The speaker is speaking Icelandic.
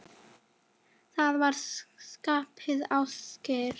Arnór, Rósa og börn.